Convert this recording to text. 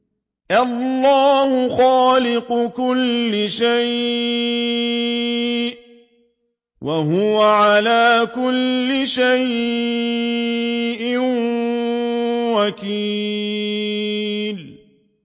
اللَّهُ خَالِقُ كُلِّ شَيْءٍ ۖ وَهُوَ عَلَىٰ كُلِّ شَيْءٍ وَكِيلٌ